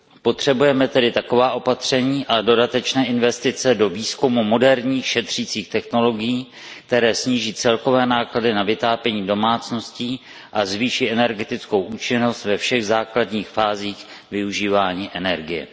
Potřebujeme tedy taková opatření a dodatečné investice do výzkumu moderních šetřících technologií, které sníží celkové náklady na vytápění domácností a zvýší energetickou účinnost ve všech základních fázích využívání energie.